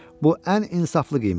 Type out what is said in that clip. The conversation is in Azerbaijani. Bu ən insaflı qiymətdir.